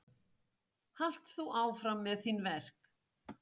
Halt þú áfram með þín verk.